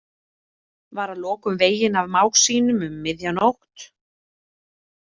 Var að lokum veginn af mág sínum um miðja nótt.